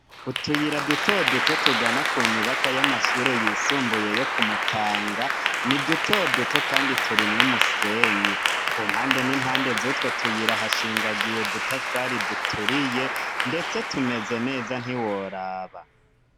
Utuyira dutoduto tugana ku nyubako y'amashure yisumbuyeyo kumutanga ni dutoduto, kandi turimwo umusenyi ku mpande n'impande z'utwo tuyira hashingagiye dutafari duturiye, ndetse tumeze neza ntiworaba.